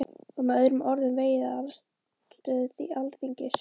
Var með öðrum orðum vegið að stöðu Alþingis?